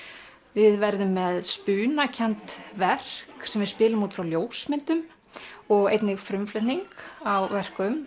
við verðum með verk sem við spilum út frá ljósmyndum og einnig með frumflutning á verkum